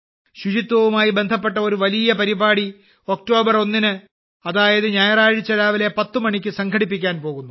ശുചിത്വവുമായി ബന്ധപ്പെട്ട ഒരു വലിയ പരിപാടി ഒക്ടോബർ 1 ന് അതായത് ഞായറാഴ്ച രാവിലെ 10 മണിക്ക് സംഘടിപ്പിക്കാൻ പോകുന്നു